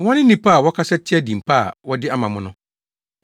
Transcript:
Wɔne nnipa a wɔkasa tia din pa a wɔde ama mo no.